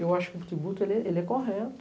Eu acho que o tributo, ele é correto.